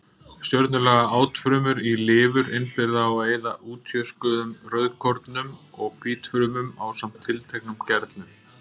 Stjörnulaga átfrumur í lifur innbyrða og eyða útjöskuðum rauðkornum og hvítfrumum ásamt tilteknum gerlum.